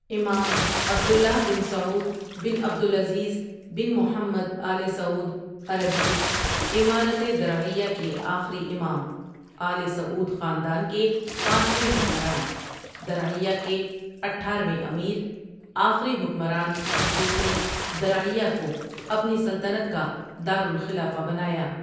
امام عبد اللہ بن سعود بن عبد العزیز بن محمد آلِ سعود عربی ، امارتِ درعیہ کے آخری امام، آلِ سعود خاندان کے پانچویں حکمران، درعیہ کے اٹھارویں امیر، آخری حکمران جس نے درعیہ کو اپنی سلطنت کا دارُالخلافہ بنایا۔